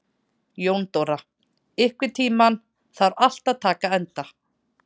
Jóndóra, einhvern tímann þarf allt að taka enda.